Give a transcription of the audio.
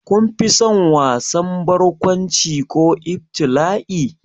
Kun fi son wasan barkwanci ko ibtila'i?